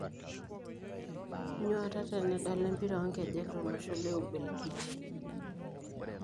Nyuata tenedala empira onkejek tolosho le Ubelgiji.